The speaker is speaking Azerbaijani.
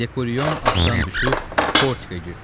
Dekoriyon atdan düşüb portikə girdi.